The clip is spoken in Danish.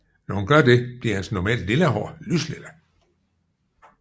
Når hun gør det bliver hendes normalt lilla hår lyslilla